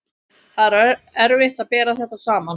Það er erfitt að bera þetta saman.